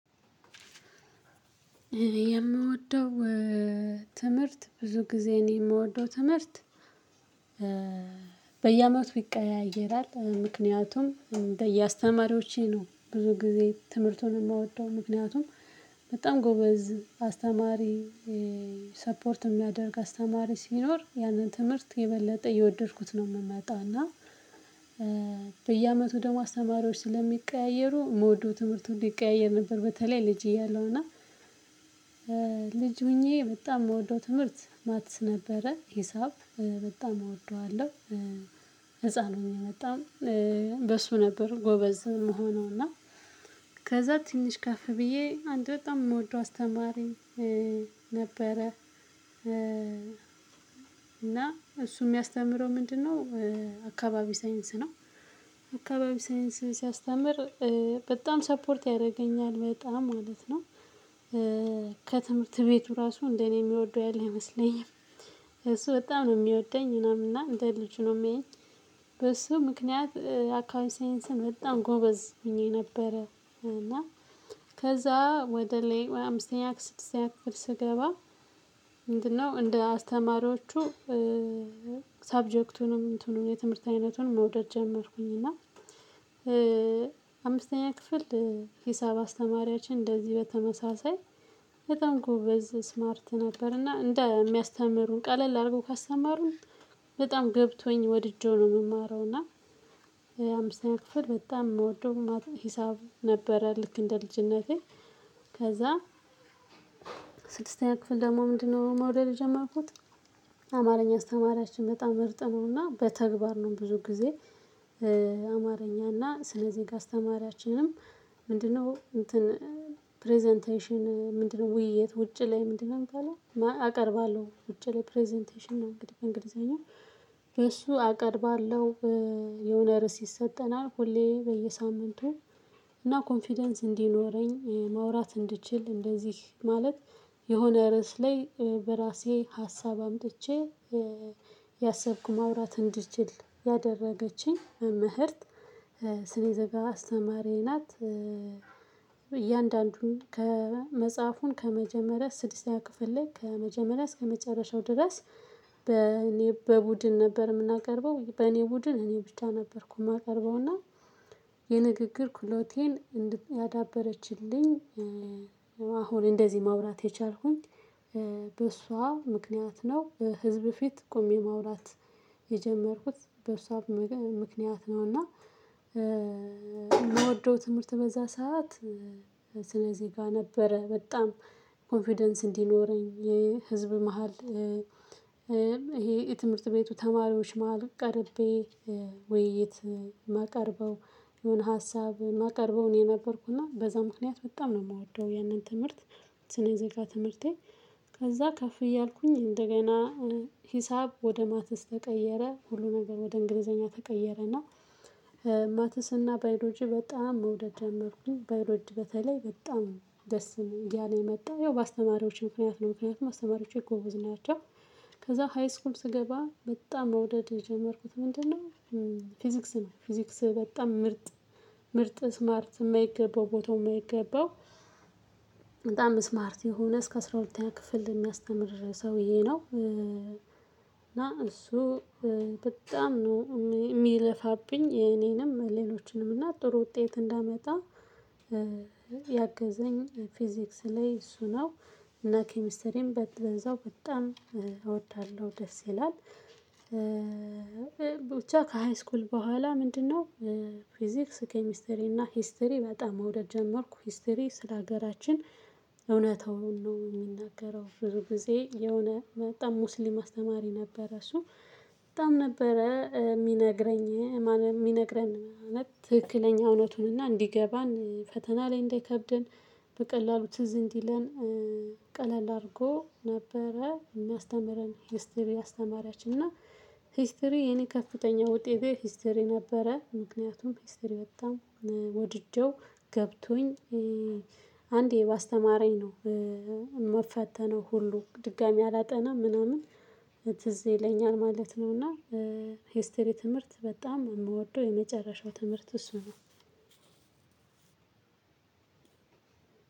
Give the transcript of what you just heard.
የምወደው ትምህርት ብዙ ጊዜ እኔ የምወደው ትምህርት በየአመቱ ይቀያየራል። ምክንያቱም እንደየአስተማሪዎቼ ነው ብዙ ጊዜ ትምህርቱን የምወደው ምክንያቱም በጣም ጎበዝ አስተማሪ። ሰፖርት የሚያደርግ አስተማሪ ሲኖር ያንን ትምህርት የበለጠ እየወደድኩት ነው። የምመጣና በየአመቱ ደግሞ አስተማሪዎች ስለሚቀያየሩ የምውደው ትምህርቱ ይቀያየር ነበር። በተለይ ልጅ እያለሁ እና እያለሁና ልጅ ሆኜ በጣም የምወደው ትምህርት ማትስ ነበረ ሂሳብ በጣም እወደዋለሁ። ህፃን ሁኜ በጣም በሱ ነበር ጎበዝ የምሆነው እና ከዛ ትንሽ ከፍ ብዬ አንድ በጣም የምወደው አስተማሪኝ ነበረ። እና እሱ የሚያስተምረው ምንድነው? አካባቢ ሳይንስ ነው አካባቢ ሳይንስ ሲያስተምር በጣም ሰፖርት ያደርገኛል በጣም ማለት ነው። ከትምህርት ቤቱ ራሱ እንደ እኔ የሚወደው ያለ አይመስለኝም። እሱ በጣም ነው የሚወደኝ ምናምን እና እንደ ልጁ ነው የሚያየኝ። በሱ ምክንያት አካባቢ ሳይንስን በጣም ጎበዝ ሆኜ ነበረ። እና ከዛ ወደ ላይ አምስተኛ ስድስተኛ ክፍል ስገባ ነው እንደ አስተማሪዎቹ። ሳብጀክቱንም እንትኑን የትምህርት አይነቱን መውደድ ጀመርኩኝ እና። አምስተኛ ክፍል ሂሳብ አስተማሪያችን እንደዚህ በተመሳሳይ በጣም ጎበዝ ስማርት ነበርና እንደ የሚያስተምሩን ቀለል አድርጎ ካስተማሩን በጣም ገብቶኝ ወድጄው ነው የምማረው። እና አምስተኛ ክፍል በጣም የምወደው ሂሳብ ነበረ ልክ እንደ ልጅነቴ ከዛ። ስድስተኛ ክፍል ደግሞ ምንድነው? መውደድ የጀመርኩት አማርኛ አስተማሪያችን በጣም ምርጥ ነውና በተግባር ነው ብዙ ጊዜ። አማርኛና ስነ ዜጋ አስተማሪያችንም ምንድነው? እንትን ፕሬዘንቴሽን ምንድነው? ውይይት ውጭ ላይ ምንድነው? የሚባለው አቀርባለሁ ውጭ ላይ ፕሬዘንቴሽን ነው እንግዲህ በእንግሊዘኛ እሱ አቀርባለሁ። የሆነ ርዕስ ይሰጠናል ሁሌ በየሳምንቱ እና ኮንፊደንስ እንዲኖረኝ ማውራት እንድችል እንደዚህ ማለት የሆነ ርዕስ ላይ በራሴ ሀሳብ አምጥቼ እያሰብኩ ማውራት እንድችል ያደረገችኝ መምህርት። ስኔ ዜጋ አስተማሪ ናት እያንዳንዱን ከመጽሐፉን ከመጀመሪያ ስድስተኛ ክፍል ላይ ከመጀመሪያ እስከመጨረሻው ድረስ። በእኔ በቡድን ነበር የምናቀርበው በእኔ ቡድን እኔ ብቻ ነበርኩ የማቀርበውና። የንግግር ክህሎቴን ያዳበረችልኝ አሁን እንደዚህ ማውራት የቻልኩኝ በእሷ ምክንያት ነው። በህዝብ ፊት ቆሜ ማውራት የጀመርኩት በእሷ ምክንያት ነው። እና የምወደው ትምህርት በዛ ሰዓት ስነ ዜጋ ነበረ በጣም ኮንፊደንስ እንዲኖረኝ ህዝብ መሃል። ይሄ የትምህርት ቤቱ ተማሪዎች መሃል ቀርቤ ውይይት ማቀርበው የሆነ ሀሳብ ማቀርበው እኔ ነበርኩና በዛ ምክንያት በጣም ነው የምወደው ያንን ትምህርት። ስነ ዜጋ ትምህርቴ። ከዛ ከፍ እያልኩኝ እንደገና ሂሳብ ወደ ማተስ ተቀየረ ሁሉ ነገር ወደ እንግሊዘኛ ተቀየረና። ማትስና ባዮሎጂ በጣም መውደድ ጀመርኩኝ ባዮሎጂ በተለይ በጣም ደስ እያለኝ መጣ ያው በአስተማሪዎች ምክንያት ነው ምክንያቱም አስተማሪዎቼ ጎበዝ ናቸው። ከዛ ሃይስኩል ስገባ በጣም መውደድ የጀመርኩት ምንድነው? ፊዚክስ ነው ፊዚክስ በጣም ምርጥ ምርጥ ስማርት የማይገባው ቦታው የማይገባው። በጣም ስማርት የሆነ እስከ አስራ ሁለተኛ ክፍል የሚያስተምር ሰውዬ ነው እና እሱ በጣም ነው የሚለፋብኝ የኔንም ሌሎችንም እና ጥሩ ውጤት እንዳመጣ። ያገዘኝ ፊዚክስ ላይ እሱ ነው። እና ኬሚስትሪም በዛው በጣም እወዳለሁ ደስ ይላል። ብቻ ከሃይስኩል በኋላ ምንድነው? ፊዚክስ ኬሚስትሪ እና ሂስትሪ በጣም መውደድ ጀመርኩ ሂስትሪ ስለሀገራችን። እውነታውን ነው የሚናገረው ብዙ ጊዜ የሆነ በጣም ሙስሊም አስተማሪ ነበረ እሱ በጣም ነበረ የሚነግረኝ የሚነግረን ማለት ትክክለኛ እውነቱን እና እንዲገባን ፈተና ላይ እንዳይከብደን በቀላሉ ትዝ እንዲለን። ቀለል አድርጎ ነበረ የሚያስተምረን ሂስትሪ አስተማሪያችን እና። ሂስትሪ የኔ ከፍተኛ ውጤቴ ሂስትሪ ነበረ። ምክንያቱም ሂስትሪ በጣም ወድጄው ገብቶኝ አንዴ ባስተማረኝ ነው የምፈተነው ሁሉ ድጋሚ አላጠናም ምናምን ትዝ ይለኛል ማለት ነው። እና ሄስትሪ ትምህርት በጣም የምወደው የመጨረሻው ትምህርት እሱ ነው።